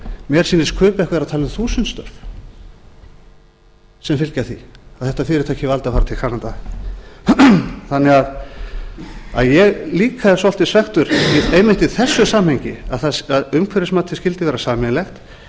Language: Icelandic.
mér sýnist kaupverk vera að tala um þúsund störf sem fylgja því og þetta fyrirtæki valdi að fara til kanada þannig að ég er líka svekktur einmitt í þessu samhengi að umhverfismatið skyldi vera sameiginlegt þannig að